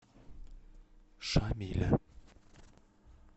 шамиля